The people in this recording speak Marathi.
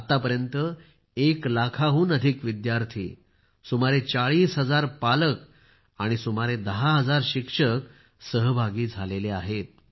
आतापर्यंत एक लाखाहून अधिक विद्यार्थी सुमारे 40 हजार पालक आणि सुमारे 10 हजार शिक्षक सहभागी झाले आहेत